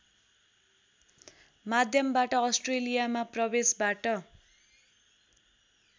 माध्यमबाट अस्ट्रेलियामा प्रवेशबाट